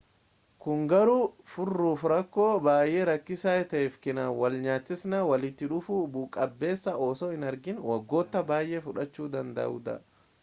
kun garuu furuuf rakkoo baay'ee rakkisaa ta'e fi kan walnyaatinsa walitti dhufuu bu'a-qabeessa osoo hin argiin waggoota baay'ee fudhachuu danda'udha